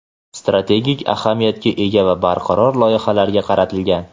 strategik ahamiyatga ega va barqaror loyihalarga qaratilgan.